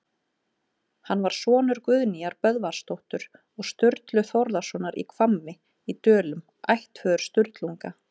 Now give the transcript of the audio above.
Hann var sonur Guðnýjar Böðvarsdóttur og Sturlu Þórðarsonar í Hvammi í Dölum, ættföður Sturlunga.